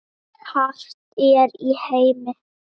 hart er í heimi